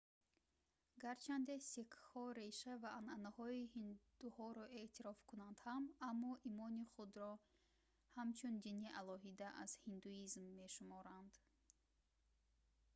гарчанде сикхҳо реша ва анъанаҳои ҳиндуҳоро эътироф кунанд ҳам аммо имони худро ҳамчун дини алоҳида аз ҳиндуизм мешуморанд